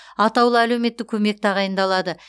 атаулы әлеуметтік көмек тағайындалады